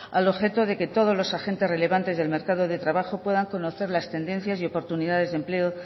al objeto de que todos los agentes relevantes del mercado de trabajo puedan conocer las tendencias y oportunidades de empleo